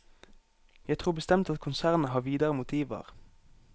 Jeg tror bestemt at konsernet har videre motiver.